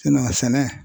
sɛnɛ